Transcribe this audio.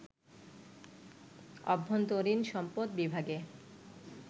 অভ্যন্তরীণ সম্পদ বিভাগে